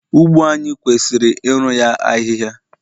ugbo anyi kwesiri iru ya ahịhịa